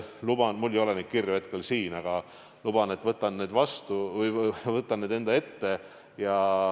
Mul ei ole neid kirju hetkel siin kaasas, aga luban, et võtan need ette.